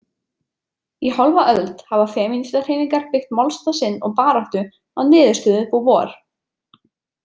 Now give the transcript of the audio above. Í hálfa öld hafa femínistahreyfingar byggt málstað sinn og baráttu á niðurstöðu Beauvoir.